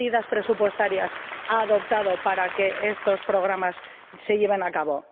¿Qué medidas presupuestarias ha adoptado para que estos programas se lleven a cabo?